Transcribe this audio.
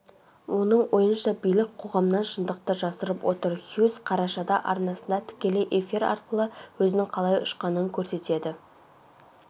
оның ойынша билік қоғамнан шындықты жасырып отыр хьюз қарашада арнасында тікелей эфир арқылыөзінің қалай ұшқанын көрсетеді